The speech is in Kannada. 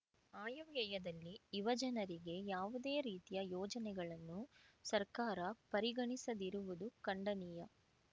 ಆಯವ್ಯಯದಲ್ಲಿ ಯುವಜನರಿಗೆ ಯಾವುದೇ ರೀತಿಯ ಯೋಜನೆಗಳನ್ನು ಸರ್ಕಾರ ಪರಿಗಣಿಸದಿರುವುದು ಖಂಡನೀಯ